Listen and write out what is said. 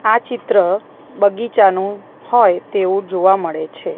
આ ચિત્ર બગીચાનું હોય તેવું જોવા મળે છે.